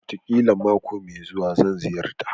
Wataƙila mako mai zuwa, zan ziyarta